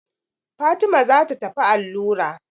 Fatima za ta tafi allura.